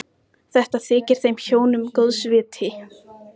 Það var bara stundum svo erfitt að bíða.